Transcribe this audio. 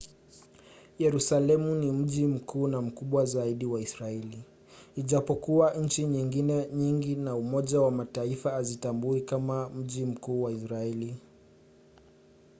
yerusalemu ni mji mkuu na mkubwa zaidi wa israeli ijapokuwa nchi nyingine nyingi na umoja wa mataifa haziutambui kama mji mkuu wa israeli